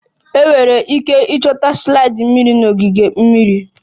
Enwere ike ịchọta slide mmiri na ogige mmiri